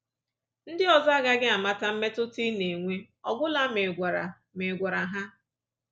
Ndị ọzọ agaghị amata mmetụta ị na-enwe ọ gwụla ma ị gwara ma ị gwara ha